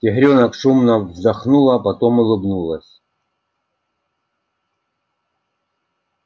тигрёнок шумно вздохнула потом улыбнулась